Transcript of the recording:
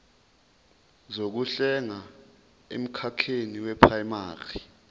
zokuhlenga emkhakheni weprayimari